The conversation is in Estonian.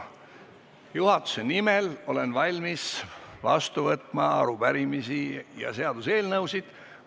Juhatuse nimel olen valmis vastu võtma arupärimisi ja seaduseelnõusid.